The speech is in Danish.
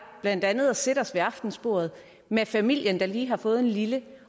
blandt andet at sætte os ved aftensbordet med familien der lige har fået en lille